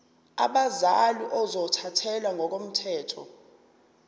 abazali ozothathele ngokomthetho